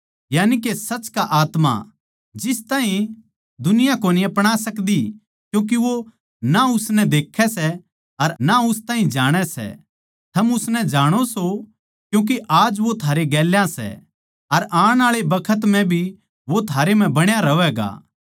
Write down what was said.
यानिके सच का आत्मा जिस ताहीं दुनिया कोनी अपणा सकदी क्यूँके वो ना उसनै देक्खै सै अर ना उस ताहीं जाणै सै थम उसनै जाणो सो क्यूँके आज वो थारै गेल्या सै अर आण आळे बखत म्ह भी वो थारै म्ह बणा रहवैगा